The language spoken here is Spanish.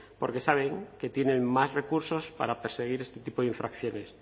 porque saben que tienen más recursos para perseguir este tipo de infracciones